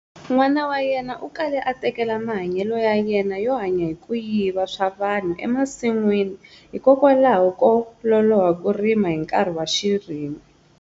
N'wanan wa yena u kale a tekelela mahanyelo ya yena yo hanya hi ku yiva swa vanhu emasin'wini hikokwalaho ko loloha ku rima hi nkarhi wa xirimu.